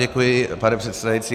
Děkuji, pane předsedající.